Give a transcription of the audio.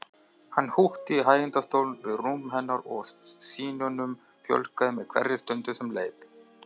Hann húkti í hægindastól við rúm hennar og sýnunum fjölgaði með hverri stund sem leið.